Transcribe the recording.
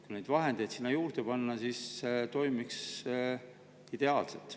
Kui neid vahendeid sinna juurde panna, siis see toimiks ideaalselt.